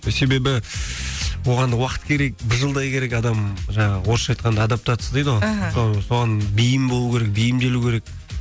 себебі оған да уақыт керек бір жылдай керек адам жаңағы орысша айтқанда адаптация дейді ғой іхі соған бейім болу керек бейімделу керек